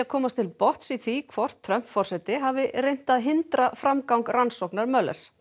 komast til botns í því hvort Trump forseti hafi reynt að hindra framgang rannsóknar